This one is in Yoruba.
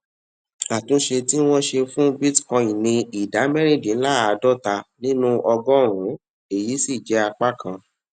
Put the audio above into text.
àtúnṣe tí wọn ṣe fún bitcoin ní ìdá mẹrìndínláàádọta nínú ọgọrùnún èyí sì jé apá kan